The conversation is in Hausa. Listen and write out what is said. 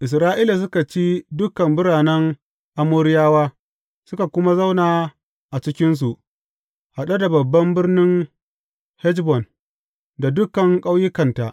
Isra’ila suka ci dukan biranen Amoriyawa, suka kuma zauna a cikinsu, haɗe da babban birnin Heshbon da dukan ƙauyukanta.